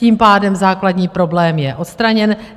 Tím pádem základní problém je odstraněn.